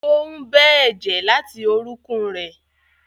Ó ń bẹ́ ẹ̀jẹ̀ láti orúnkún rẹ̀.